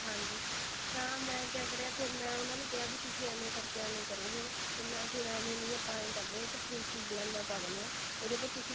ਹਾਂਜੀ ਤਾਂ ਮੈਂ ਕਿਆ ਕਰਿਆ ਫੇਰ ਮੈਂ ਉਹਨਾਂ ਨੂੰ ਕਿਹਾ ਵੀ ਤੁਸੀਂ ਆਵੇਂ ਕਰਕੇ ਐਵੇਂ ਕਰੋ ਹੁਣ ਹੁਣ ਐਵੇਂ ਨੀ ਆਪਾਂ ਏਂ ਕਰਦੇ ਆ ਇਹਦੇ ਵਿੱਚ princess ਲਾਈਨਾ ਪਾ ਦਿੰਨੇ ਆ ਇਹਦੇ ਪਰ